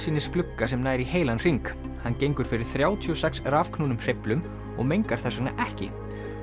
útsýnisglugga sem nær í heilan hring hann gengur fyrir þrjátíu og sex rafknúnum hreyflum og mengar þess vegna ekki